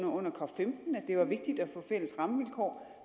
under cop15 at det var vigtigt at få fælles rammevilkår